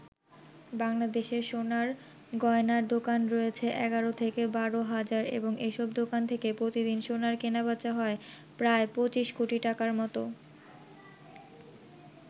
বাংলাদেশে সোনার গয়নার দোকান রয়েছে ১১-১২ হাজার এবং এসব দোকান থেকে প্রতিদিন সোনার কেনাবেচা হয় প্রায় ২৫ কোটি টাকার মত।